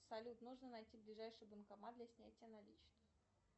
салют нужно найти ближайший банкомат для снятия наличных